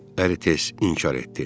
deyə əri tez inkar etdi.